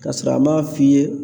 Kasɔrɔ a ma f'i ye